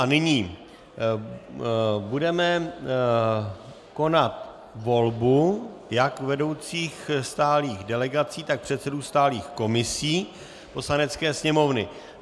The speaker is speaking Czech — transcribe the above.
A nyní budeme konat volbu jak vedoucích stálých delegací, tak předsedů stálých komisí Poslanecké sněmovny.